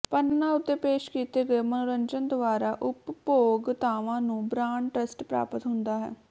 ਪੰਨਾ ਉੱਤੇ ਪੇਸ਼ ਕੀਤੇ ਗਏ ਮਨੋਰੰਜਨ ਦੁਆਰਾ ਉਪਭੋਗਤਾਵਾਂ ਨੂੰ ਬ੍ਰਾਂਡ ਟਰੱਸਟ ਪ੍ਰਾਪਤ ਹੁੰਦਾ ਹੈ